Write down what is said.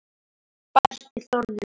bætti Þórður við.